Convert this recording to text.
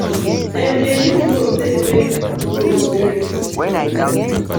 dem dey use rope take make row straight.